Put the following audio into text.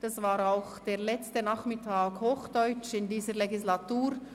Das war auch der letzte Nachmittag auf Hochdeutsch während dieser Legislaturperiode.